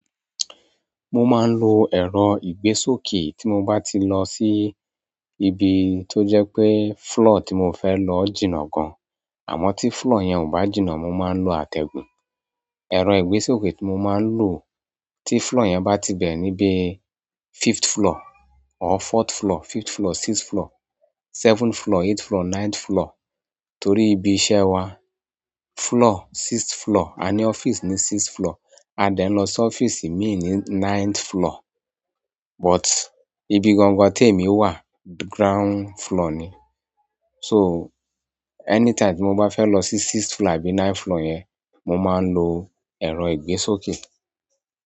Mo máa ń lo ẹ̀rọ ìgbésókè tí mo bá ti lọ sí ibi tó jẹ́ pé floor tí mo fẹ́ lọ jìnà gan. Àmọ́ tí floor yẹn ò bá jìnà, mo máa ń lo àtẹ̀gùn. Ẹ̀rọ ìgbésókè tí mo máa ń lò tí floor yẹn bá ti bẹ̀re ní bíi fifth floor or fourth floor, fifth floor, sixth floor, seventh floor, eighth floor, ninth floor. Torí ibí iṣẹ́ wa, floor sixth floor, a ní ọ́fíìsì ní sixth floor. A dẹ̀ ń lọ sí ọ́fíìsì mi ní ninth floor. But ibi gangan tí èmi wà ground floor ni. So, anytime tí mo bá fẹ́ lọ sí sixth floor àbí ninth floor yẹn, mo máa ń lo ẹ̀rọ ìgbésókè.